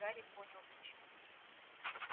и в тот миг гарри понял почему